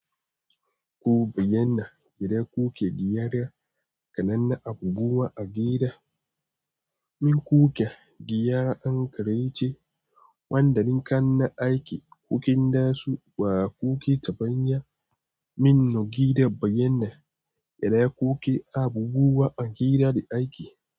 Kuba yana idana kuke giya da kananan abubuwa a gida. Min kuke giya an karace wanda linkan na aiki, kukin dasu ba kuke tafanya. Min nogi da bayyanai, da ya kuke abubuwa a gida da daiki.